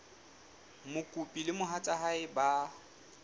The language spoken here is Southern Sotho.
mokopi le mohatsa hae ba